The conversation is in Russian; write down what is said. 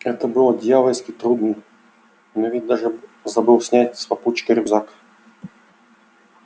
это было дьявольски трудно но ведь даже забыл снять с попутчика рюкзак